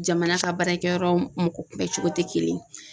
Jamana ka baarakɛyɔrɔ mɔgɔ kunbɛn cogo tɛ kelen ye.